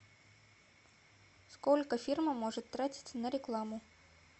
сколько фирма может тратить на рекламу